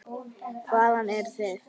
Hvaðan eruð þið?